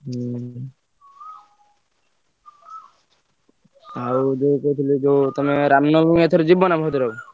ହୁଁ ଆଉ ଯୋଉ କହୁଥିଲି ଯୋଉ ତମେ ରାମନବମୀ ଏଥର ଯିବ ନା ଭଦ୍ରକ?